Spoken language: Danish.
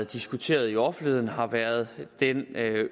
diskuteret i offentligheden har været den